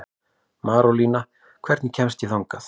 Marólína, hvernig kemst ég þangað?